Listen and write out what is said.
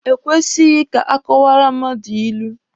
E kwesịghị ka akọwaara mmadụ ilu.